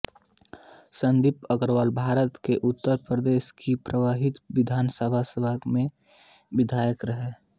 संदीप अग्रवालभारत के उत्तर प्रदेश की पंद्रहवी विधानसभा सभा में विधायक रहे